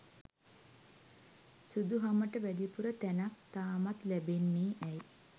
සුදු හමට වැඩිපුර තැනක් තාමත් ලැබෙන්නේ ඇයි?